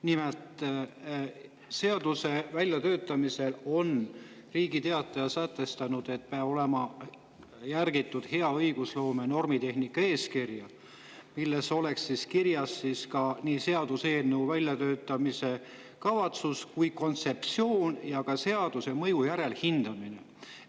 Nimelt, Riigi Teatajast seaduse väljatöötamisel peab olema järgitud hea õigusloome ja normitehnika eeskirja, mis nii seaduseelnõu väljatöötamiskavatsust kui ka kontseptsiooni ja seaduse mõju järelhindamist.